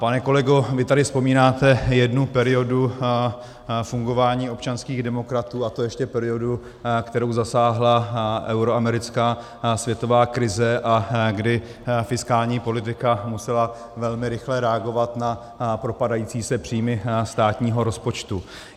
Pane kolego, vy tady vzpomínáte jednu periodu fungování občanských demokratů, a to ještě periodu, kterou zasáhla euroamerická světová krize a kdy fiskální politika musela velmi rychle reagovat na propadající se příjmy státního rozpočtu.